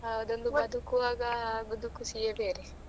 ಅದು ಬದಕುವಾಗ ಆಗುದು ಖುಷಿಯೇ ಬೇರೆ.